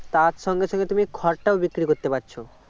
তার সঙ্গে সঙ্গে তুমি খড়টাও বিক্রি করতে পারছ